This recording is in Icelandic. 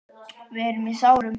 Við erum í sárum.